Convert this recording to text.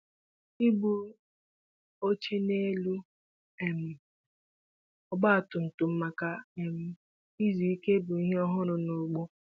Ibu oche n'elu um ọgba tum tum maka um izu ike bụ ihe ọhụrụ n'ugbo.